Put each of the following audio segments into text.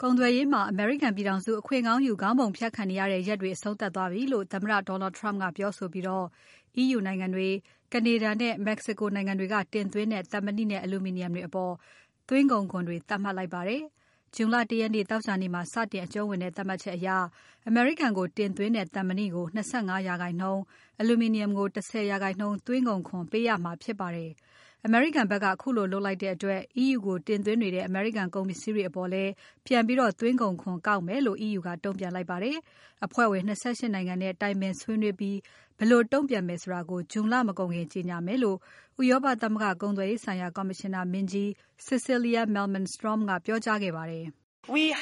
ကုန်သွယ်ရေးမှာ အမေရိကန်ပြည်ထောင်စု အခွင့်ကောင်းယူ ခေါင်းပုံဖြတ်ခံနေရတဲ့ရက်တွေ အဆုံးသပ်သွားပြီလို့ သမ္မတ Donald Trump ကပြောဆိုပြီး EU နိုင်ငံတွေ။ Canada နဲ့ Mexico နိုင်ငံတွေက တင်သွင်းတဲ့ သံမဏိနဲ့ အလူမီနီယံတွေအပေါ် သွင်းကုန်ခွန်တွေ သတ်မှတ်လိုက်ပါတယ်။ June လ ၁ရက် သောကြာနေ့မှာ စတင်အကြုံးဝင်တဲ့ သတ်မှတ်ချက်အရ အမေရိကန်ကိုတင်သွင်းတဲ့ သံမဏိကို ၂၅% အလူမီနီယံကို ၁၀% သွင်းကုန်ခွန် ပေးရမှာဖြစ်ပါတယ်။ အမေရိကန်ဖက်က ခုလိုလုပ်လိုက်တဲ့အတွက် EU ကိုတင်သွင်းနေတဲ့ အမေရိကန်ကုန်ပစ္စည်းတွေအပေါ်လည်း ပြန်ပြီးသွင်းကုန်ခွန်ကောက်မယ်လို့ EU ကတုံ့ပြန်လိုက်ပါတယ်။ အဖွဲ့ဝင် ၂၈ နိုင်ငံနဲ့ တိုင်ပင်ဆွေးနွေးပြီး ဘယ်လိုတုံ့ပြန်ဆောင်ရွက်မယ်ဆိုတာ June လမကုန်ခင်ကြေညာမယ်လို့ ဥရောပသမဂ္ဂကုန်သွယ်ရေးဆိုင်ရာ ကော်မရှင်နာမင်းကြီး Cecilia Malmstrom ကပြောကြားခဲ့ပါတယ်။ “၂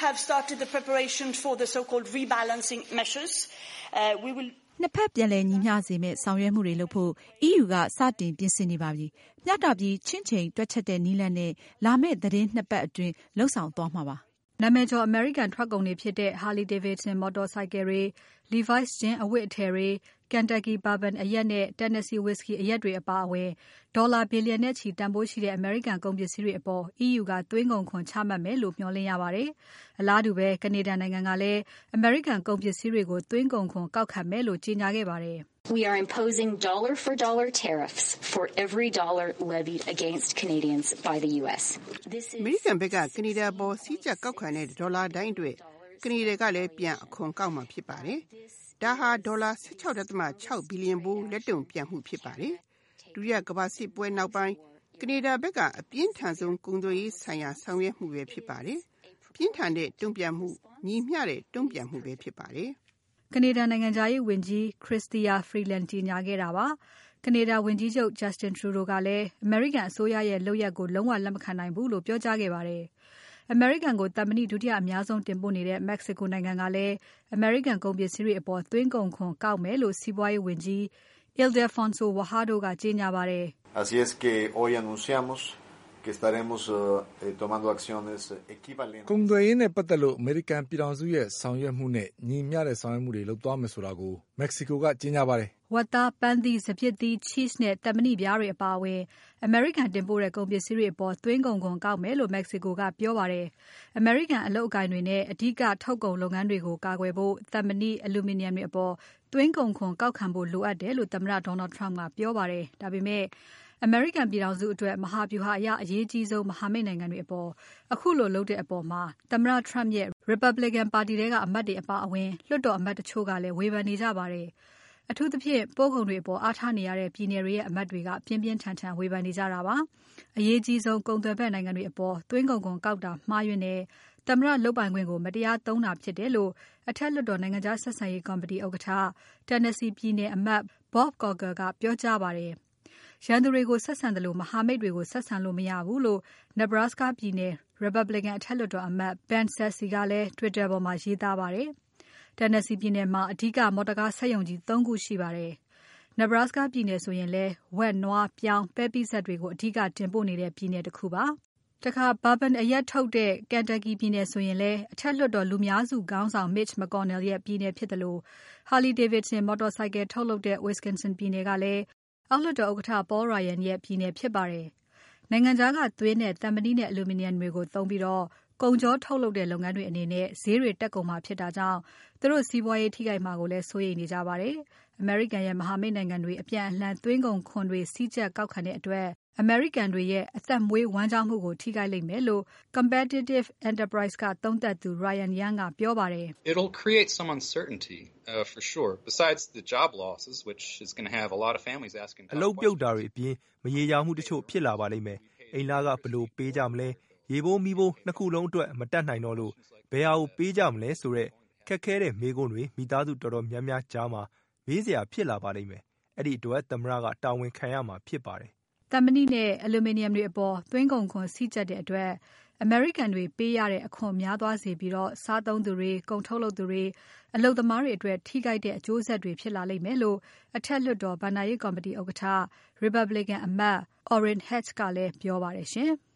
ဖက် ပြန်လည်ညီမျှစေမယ့် ဆောင်ရွက်မှုတွေလုပ်ဖို့ EU ကစတင်ပြင်ဆင်နေပါပြီ။ မျှတပြီး ချင့်ချိန် တွက်ချက်တဲ့နည်းလမ်းနဲ့ လာမဲ့သီတင်းပါတ် ၂ ပါတ်အတွင်း လုပ်ဆောင်သွားမှာပါ။” နာမည်ကျော် အမေရိကန်ထွက်ကုန်တွေဖြစ်တဲ့ Harley Davison မော်တော်ဆိုင်ကယ်တွေ။ Levi’s ဂျင်းအဝတ်အထည်တွေ။ Kentucky bourbon အရက်နဲ့ Tennessee whiskey အရက်တွေအပါအဝင် ဒေါ်လာဘီလျံနဲ့ချီတန်ဖိုးရှိတဲ့ အမေရိကန် ကုန်ပစ္စည်းတွေအပေါ် EU ကသွင်းကုန်ခွန်ချမှတ်မယ်လို့ မျှော်လင့်ရပါတယ်။ အလားတူ Canada နိုင်ငံကလည်း အမေရိကန်ကုန်ပစ္စည်းတွေကို သွင်းကုန်ခွန်ကောက်ခံမယ်လို့ ကြေညာခဲ့ပါတယ်။ “အမေရိကန်ဖက်က ကနေဒါအပေါ် စည်းကြပ်ကောက်ခံတဲ့ ၁ ဒေါ်လာတိုင်းအတွက် ကနေဒါကလည်းအခွန်ကောက်မှာဖြစ်ပါတယ်။ ဒါဟာ ဒေါ်လာ ၁၆.၆ ဘီလျံဖိုး လက်တုံ့ပြန်မှုဖြစ်ပါတယ်။ ဒုတိယကမ္ဘာစစ်ပွဲပြီးနောက်ပိုင်း ကနေဒါဖက်က အပြင်းထန်ဆုံး ကုန်သွယ်ရေးဆိုင်ရာ ဆောင်ရွက်မှုဖြစ်ပါတယ်။ ပြင်းထန်တဲ့တုံ့ပြန်မှု၊ ညီမျှတဲ့ တုံ့ပြန်မှုဖြစ်ပါတယ်။” ကနေဒါနိုင်ငံခြားရေးဝန်ကြီး Chrystia Freeland ကြေညာခဲ့တာပါ။ ကနေဒါဝန်ကြီးချုပ် Justin Trudeau ကလည်း အမေရိကန်အစိုးရရဲ့ လုပ်ရပ်ကို လုံးဝလက်မခံနိုင်ဘူးလို့ ပြောကြားခဲ့ပါတယ်။ အမေရိကန်ကို သံမဏိဒုတိယအများဆုံး တင်ပို့နေတဲ့ Mexico နိုင်ငံကလည်း အမေရိကန်ကုန်ပစ္စည်းတွေအပေါ် သွင်းကုန်ခွန်ကောက်မယ်လို့ စီးပွားရေးဝန်ကြီး Ildefonso Guajardo ကကြေညာပါတယ်။ “ကုန်သွယ်ရေးနဲ့ပါတ်သက်လို့ အမေရိကန်ပြည်ထောင်စုရဲ့ ဆောင်ရွက်မှုနဲ့ ညီမျှတဲ့ဆောင်ရွက်မှုတွေ လုပ်သွားမယ်ဆိုတာကို Mexico က ကြေညာပါတယ်။” ဝက်သား၊ ပန်းသီး၊ စပျစ်သီး၊ Cheese နဲ့ သံမဏိပြားတွေအပါအဝင် အမေရိကန်ကတင်ပို့တဲ့ ကုန်ပစ္စည်းတွေအပေါ် သွင်းကုန်ခွန်ကောက်မယ်လို့ Mexico ကပြောပါတယ်။ အမေရိကန် အလုပ်ကိုင်တွေနဲ့ အဓိကထုတ်ကုန်လုပ်ငန်းတွေကို ကာကွယ်ဖို့ သံမဏိ၊ အလူမီနီယံတွေအပေါ် သွင်းကုန်ခွန်ကောက်ခံဖို့ လိုအပ်တယ်လို့ သမ္မတ Donald Trump ကပြောပါတယ်။ ဒါပေမဲ့ အမေရိကန်ပြည်ထောင်စုအတွက် မဟာဗျူဟာအရ အရေးအကြီးဆုံး မဟာမိတ်နိုင်ငံတွေအပေါ် ခုလိုလုပ်တဲ့အပေါ် သမ္မတ Trump ရဲ့ Republican ပါတီထဲက အမတ်တွေအပါအဝင် လွှတ်တော်အမတ်တချို့ကလည်း ဝေဖန်နေကြပါတယ်။ အထူးသဖြင့် ပို့ကုန်တွေအပေါ် အားထားနေရတဲ့ ပြည်နယ်တွေရဲ့ အမတ်တွေက ပြင်းပြင်းထန်ထန်ဝေဖန်နေကြတာပါ။ အရေးအကြီးဆုံး ကုန်သွယ်ဖက်နိုင်ငံတွေအပေါ် သွင်းကုန်ခွန်ကောက်တာ မှားယွင်းတယ်။ သမ္မတလုပ်ပိုင်ခွင့်ကို မတရားသုံးတာဖြစ်တယ်လို့ အထက်လွှတ်တော် နိုင်ငံခြားဆက်ဆံရေးကော်မတီဥက္ကဋ္ဌ Tennessee ပြည်နယ်အမတ် Bob Corker ကပြောကြားပါတယ်။ ရန်သူတွေကို ဆက်ဆံသလို မဟာမိတ်တွေကို ဆက်ဆံလို့မရဘူးလို့ Nebraska ပြည်နယ်။ Republican အထက်လွှတ်တော်အမတ် Ben Sasse ကလည်း Twitter ပေါ်မှာ ရေးသားခဲ့ပါတယ်။ Tennessee ပြည်နယ်မှာ အဓိက မော်တော်ကားစက်ရုံကြီး ၃ ခုရှိပါတယ်။ Nebraska ပြည်နယ်ဆိုရင်လည်း ဝက်၊ နွား၊ ပြောင်း၊ ပဲပိစပ်တွေကို အဓိကတင်ပို့နေတဲ့ ပြည်နယ်တခုပါ။ Bourbon အရက်ထုတ်တဲ့ Kentucky ပြည်နယ်ဆိုရင် အထက်လွှတ်တော်လူများစုခေါင်းဆောင် Mitch McConnell ရဲ့ပြည်နယ်ဖြစ်သလို Harley Davidsons မော်တော်ဆိုင်ကယ်ထုတ်လုပ်တဲ့ Wisconsin ပြည်နယ်ကလည်း အောက်လွှတ်တော်ဥက္ကဋ္ဌ Paul Ryan ရဲ့ ပြည်နယ်ဖြစ်ပါတယ်။ နိုင်ငံခြားကသွင်းတဲ့ သံမဏိနဲ့ အလူမီနီယံတွေကို သုံးပြီး ကုန်ချောထုတ်လုပ်တဲ့ လုပ်ငန်းတွေအနေနဲ့ ဈေးတွေတက်ကုန်မှာ ဖြစ်တာကြောင့် သူတို့စီးပွားရေးထိခိုက်မှာ စိုးရိမ်နေကြပါတယ်။ အမေရိကန်နဲ့ မဟာမိတ်နိုင်ငံတွေ အပြန်အလှန် သွင်းကုန်ခွန်တွေ စည်းကြပ်ကောက်ခံကြတဲ့အတွက် အမေရိကန်တွေရဲ့ အသက်မွေးဝမ်းကျောင်းမှုကို ထိခိုက်လိမ့်မယ်လို့ Competitive Enterprise ကသုံးသပ်သူ Ryan Young ကပြောပါတယ်။ “အလုပ်ပြုတ်တာတွေအပြင် မရေရာမှုတချို့ဖြစ်လာပါလိမ့်မယ်။ အိမ်လခ ဘယ်လိုပေးကြမလဲ။ ရေဖိုး မီးဖိုး ၂ ခုလုံးအတွက် မတတ်နိုင်တော့လို့ ဘယ်ဟာကိုပေးကြမလဲဆိုတဲ့ ခက်ခဲတဲ့မေးခွန်းထုတ်မှုတွေ မိသားစုတော်တော်များများကြားမှာ မေးစရာဖြစ်လာပါလိမ့်မယ်။ အဲဒီအတွက် သမ္မတတာဝန်ခံရမှာဖြစ်ပါတယ်။” သံမဏိနဲ့ အလူမီနီယံတွေအပေါ် သွင်းကုန်ခွန်စည်းကြပ်တဲ့အတွက် အမေရိကန်တွေပေးရတဲ့ အခွန်များသွားစေပြီး စားသုံးသူတွေ။ ကုန်ထုတ်သူတွေ။ အလုပ်သမားတွေအတွက် ထိခိုက်တဲ့အကျိုးဆက်တွေ ဖြစ်လာလိမ့်မယ်လို့ အထက်လွှတ်တော် ဘဏ္ဍာရေးကော်မတီဥက္ကဋ္ဌ Republican အမတ် Orrin Hatch ကလည်းပြောပါတယ်ရှင်။